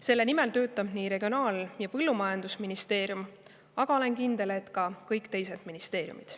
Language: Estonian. Selle nimel töötab nii Regionaal- ja Põllumajandusministeerium, aga olen kindel, et ka kõik teised ministeeriumid.